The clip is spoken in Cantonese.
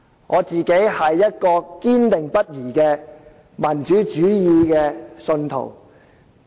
我個人是堅定不移的民主主義信徒。